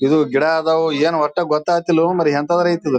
ಇದು ಗಿಡ ಅದವೋ ಏನೋ ಓಟ್ ಗೋತಗತಿಲ್ಲೋ ಮಾರಾಯ ಹೆಂತಾದ್ರೆ ಐಯ್ತ್ ಇದ.